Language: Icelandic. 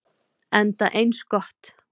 Enda eins gott.